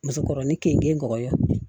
Muso kɔrɔin kenike